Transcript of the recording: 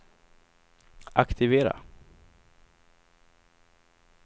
aktivera